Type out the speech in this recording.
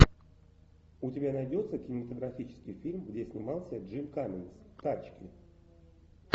у тебя найдется кинематографический фильм где снимался джим каммингс тачки